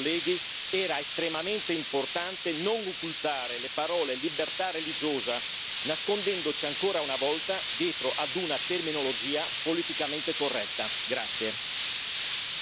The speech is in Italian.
Per questi motivi, cari colleghi, era estremamente importante non occultare le parole libertà religiosa, nascondendoci, ancora una volta, dietro a una terminologia politicamente corretta.